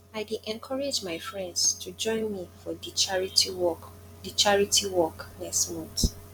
i dey encourage my friends to join me for di charity walk di charity walk next month